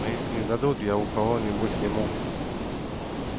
но если не дадут я у кого нибудь сниму